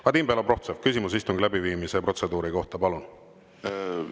Vadim Belobrovtsev, küsimus istungi läbiviimise protseduuri kohta, palun!